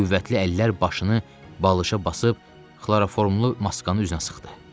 Qüvvətli əllər başını balışa basıb xlorofomlu maskanı üzünə sıxdı.